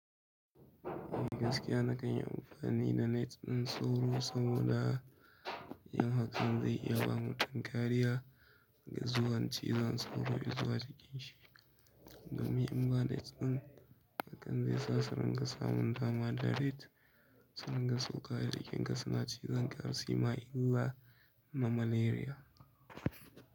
A gaskiya na kan yi amfani da nets ɗin sauro saboda yin hakan zai iya ba mutum kariya daga zuwan cizon sauro zuwa jikin shi. Domin in ba net ɗin, hakan zai sa su rinƙa samun dama da rat. Su rinƙa sauka a jikinka suna cizon ka har suma illa na malaria.